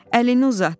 Əlini uzatdı,